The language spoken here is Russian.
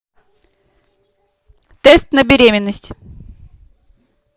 тест на беременность